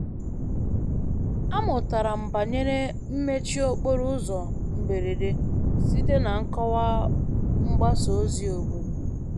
Amụtara m banyere mmechi okporo ụzọ mberede site na nkọwa mgbasa ozi obodo